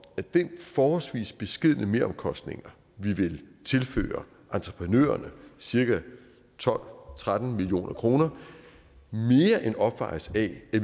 at den forholdsvis beskedne meromkostning vi vil tilføre entreprenørerne cirka tolv tretten million kroner mere end opvejes af de